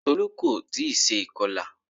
Tolú kò tí ì se ìkọlà